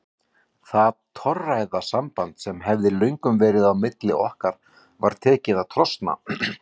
Það torræða samband sem hafði löngum verið á milli okkar var tekið að trosna.